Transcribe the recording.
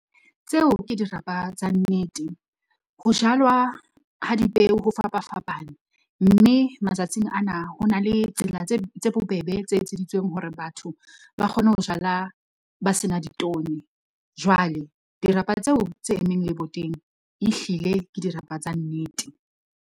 Tseo ke dirapa tsa nnete. Ho jalwa ha di peo ho fapafapane, mme matsatsing ana ho na le tsela tse bobebe tse etseditsweng hore batho ba kgone ho jala ba sena ditone. Jwale dirapa tseo tse emmeng leboteng ehlile ke dirapa tsa nnete.